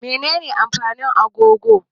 Menene amfanin agogo?